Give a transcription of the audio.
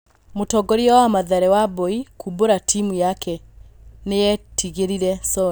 Mũtongoria wa Mathare Wambui kũmbũra timu yake nĩyetigĩrire Soni.